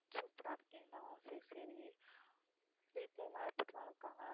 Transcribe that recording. super ஆ இருக்கீங்களா சரி சரி வீட்டுல எல்லாம் எப்படி எல்லாம் இருக்காங்க